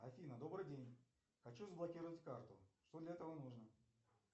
афина добрый день хочу заблокировать карту что для этого нужно